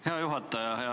Hea juhataja!